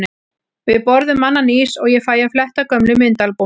Við borðum annan ís og ég fæ að fletta gömlum myndaalbúmum.